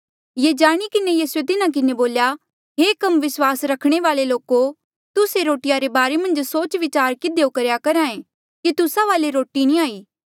ये जाणी किन्हें यीसूए तिन्हा किन्हें बोल्या हे कम विस्वास रखणे वाल्ऐ लोको तुस्से रोटिया रे बारे मन्झ सोच विचार किधियो करेया करहा ऐें कि तुस्सा वाले रोटी नी हाई